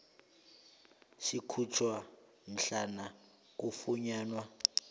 sikhutjhwa mhlana kufunyanwa